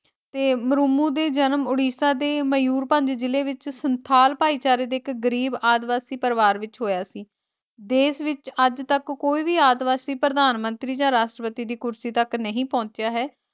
ਤੇ ਮੁਰੁਮੁ ਦੇ ਜਨਮ ਉੜੀਸਾ ਦੇ ਮਯੂਰਪੰਜ ਜ਼ਿਲੇ ਵਿਚ ਸੰਥਾਲ ਭਾਈਚਾਰੇ ਦੇ ਇਕ ਗਰੀਬ ਆਦਿਵਾਸੀ ਪਰਿਵਾਰ ਵਿਚ ਹੋਇਆ ਸੀ ਦੇਸ਼ ਵਿਚ ਅੱਜ ਤਕ ਕੋਈ ਵੀ ਆਦਿਵਾਸੀ ਪ੍ਰਧਾਨ ਮੰਤਰੀ ਜਾ ਰਾਸ਼ਟਰਪਤੀ ਦੀ ਕੁਰਸੀ ਤਕ ਨਹੀਂ ਪਹੁੰਚਿਆ ਹੈ ।